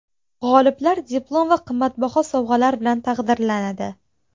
G‘oliblar diplom va qimmatbaho sovg‘alar bilan taqdirlanadi.